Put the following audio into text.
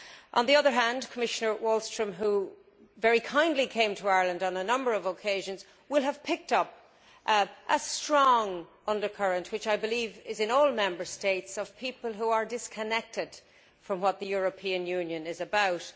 On the other hand, Commissioner Wallström, who very kindly came to Ireland on a number of occasions, will have picked up a strong undercurrent, which I believe exists in all Member States, of people who are disconnected from what the European Union is about.